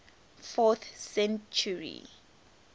fourth century